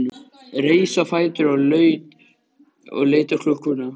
Reis á fætur og leit á klukkuna.